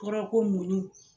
Kɔrɔ ko muɲun.